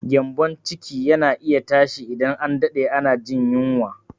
Gyambon ciki yana iya tashi idan an daɗe ana jin yunwa.